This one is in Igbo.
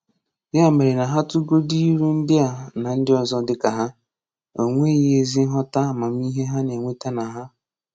Ya mere na ha tụgodu ilu ndị a na ndị ọzọ dịka ha, o nweghii ezi nghọta amamihe ha na-enweta na ha.